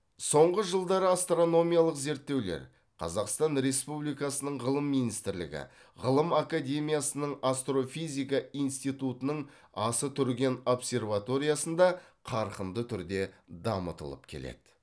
соңғы жылдары астрономиялық зерттеулер қазақстан республикасының ғылым министрлігі ғылым академиясының астрофизика институтының асы түрген обсерваториясында қарқынды түрде дамытылып келеді